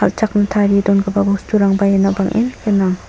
kal·chakna tarie dongipa bosturangba iano bang·en gnang.